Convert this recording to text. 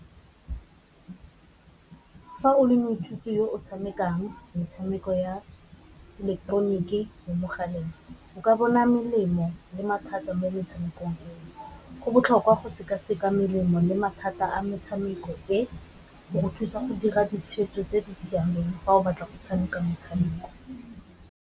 Fa o le moithuti yo o tshamekang metshameko ya ileketeroniki mo mogaleng o ka bona melemo le mathata mo motshamekong, go botlhokwa go seka-seka melemo le mathata a motshameko e go go thusa go dira ditshwetso tse di siameng fa o batla go tshameka motshameko.